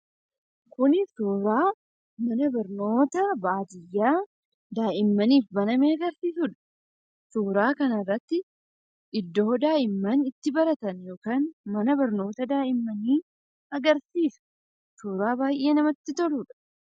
Kuni suuraa mana barnootaa baadiyyaa daa'immaniif baname agarsiisudha. Suuraa kanarratti iddoo daa'imman itti baratan yookaan mana barnootaa daa'immanii agarsiisa, suuraa baay'ee namatti toludha.